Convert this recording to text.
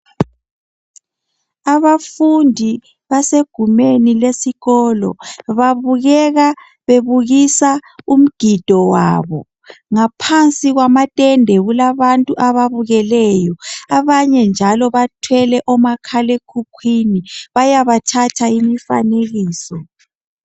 Abafundi basegumeni lesikolo babukeka bebukisa umgido wabo ngaphansi kwamatende kulabantu ababukeleyo abanye njalo bathwele omakhalekhukhwini bayabathatha imifanekiso.